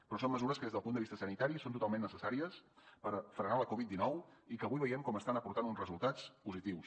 però són mesures que des del punt de vista sanitari són totalment necessàries per frenar la covid dinou i que avui veiem com estan aportant uns resultats positius